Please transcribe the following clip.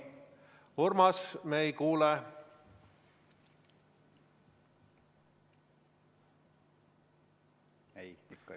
Urmas, me ei kuule!